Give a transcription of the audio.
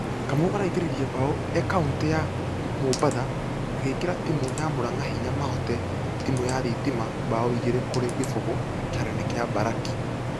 Kamau araingĩririe bao e kaũntĩ ya mũbatha agĩikĩra timũ ya muranga hinya mahote timũ ya thitima bao igĩrĩ kũrĩ kĩfũgũ kĩharo-inĩ gia mbaraki.